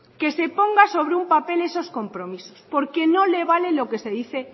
que se ponga sobre un papel esos compromisos porque no le vale lo que se dice